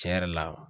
Tiɲɛ yɛrɛ la